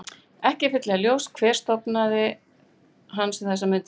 Ekki er fyllilega ljóst hver stofnstærð hans er um þessar mundir.